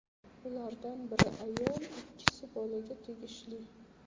Ulardan biri ayol, ikkisi bolaga tegishli.